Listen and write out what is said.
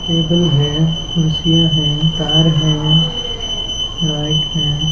Table हैं कुर्सियां हैं तार हैं लाइट हैं।